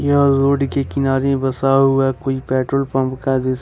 यह रोड के किनारे बसा हुआ कोई पेट्रोल पंप का दृश्य--